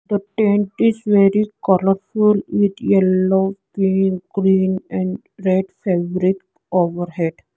the tent is very colourful with yellow pink green and red fabric overhead.